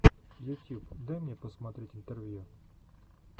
ютьюб дай мне посмотреть интервью